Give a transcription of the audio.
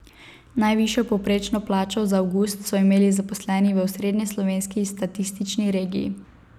Najvišjo povprečno plačo za avgust so imeli zaposleni v osrednjeslovenski statistični regiji.